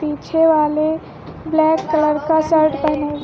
पीछे वाले black colour का शर्ट पहने--